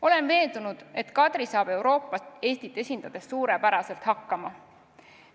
Olen veendunud, et Kadri saab Euroopas Eestit esindades suurepäraselt hakkama.